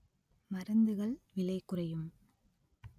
மருந்துகள் விலைக்குறையும்